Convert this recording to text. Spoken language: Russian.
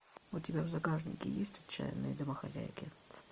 у тебя в загашнике есть отчаянные домохозяйки